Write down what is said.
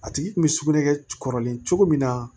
A tigi kun bɛ sugunɛkɛ kɔrɔlen cogo min na